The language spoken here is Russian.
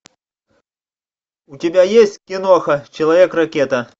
у тебя есть киноха человек ракета